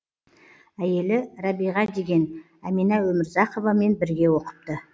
әйелі рәбиға деген әмина өмірзақовамен бірге оқыпты